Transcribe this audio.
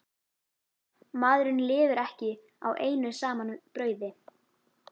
Maðurinn lifir ekki á einu saman brauði.